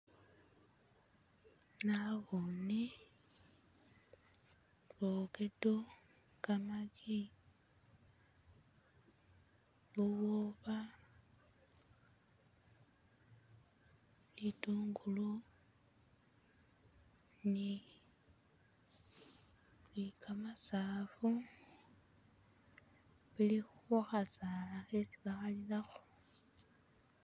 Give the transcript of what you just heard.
Naboone fokedo, gamagi, bubwoba, bitungulu ni ni gamasafu bili kukhasaala khesi bakhalilakho.